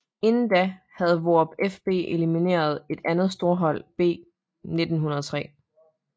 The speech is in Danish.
Inden da havde Vorup FB elimineret et andet storhold B 1903